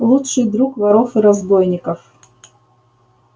лучший друг воров и разбойников